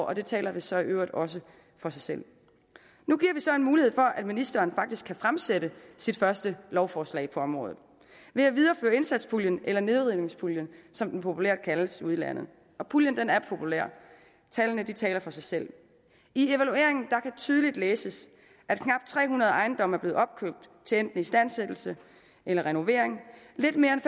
og det taler så i øvrigt også for sig selv nu giver vi så en mulighed for at ministeren faktisk kan fremsætte sit første lovforslag på området ved at videreføre indsatspuljen eller nedrivningspuljen som den populært kaldes ude i landet og puljen er populær tallene taler for sig selv i evalueringen kan tydeligt læses at knap tre hundrede ejendomme er blevet opkøbt til enten istandsættelse eller renovering lidt mere end